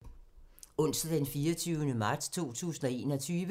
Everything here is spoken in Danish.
Onsdag d. 24. marts 2021